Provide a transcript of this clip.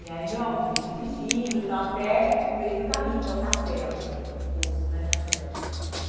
E aí meu avô veio dirigindo tal até o meio do caminho, que é o castelo, o posto, né, castelo.